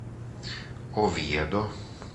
овьедо